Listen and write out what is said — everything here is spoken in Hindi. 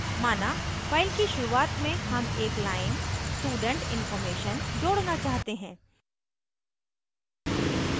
माना file की शुरुआत में हम एक line student information student information जोड़ना चाहते हैं